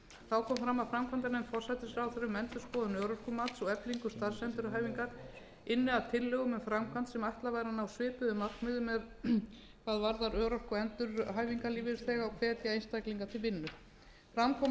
fram að framkvæmdanefnd forsætisráðherra um endurskoðun örorkumats og eflingu starfsendurhæfingar ynni að tillögum um framkvæmd sem ætlað væri að ná svipuðum markmiðum hvað varðar örorku og endurhæfingarlífeyrisþega og hvetja einstaklinga til vinnu fram kom að